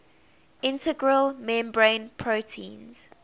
integral membrane proteins